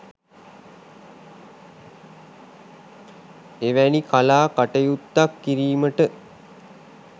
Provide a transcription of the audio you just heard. එවැනි කලා කටයුත්තක් කිරීමට